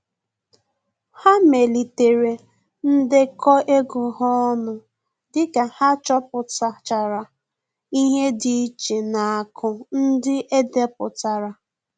Ha melitere ndekọ ego ha ọnụ dịka ha chọpụtachara ihe dị iche na aku ndị edepụtara